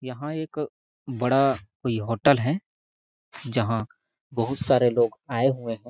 यहाँ एक बड़ा कोई होटल है जहाँ बहुत सारे लोग आये हुए है।